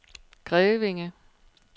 Grevinge